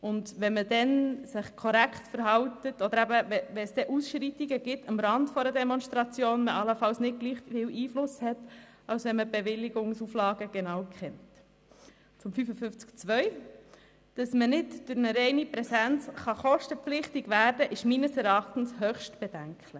Zu Artikel 55 Absatz 2: Dass man durch eine reine Präsenz zur Übernahme von Kosten gezwungen werden kann, ist meines Erachtens höchst bedenklich.